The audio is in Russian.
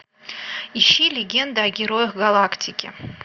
ищи легенда о героях галактики